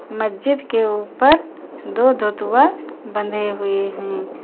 मस्जिद के ऊपर दो धोतुआ बंधे हुए हैं।